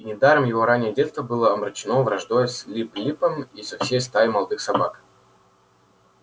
и недаром его раннее детство было омрачено враждой с лип липом и со всей стаей молодых собак